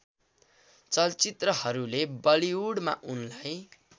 चलचित्रहरूले बलिउडमा उनलाई